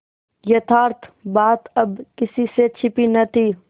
यथार्थ बात अब किसी से छिपी न थी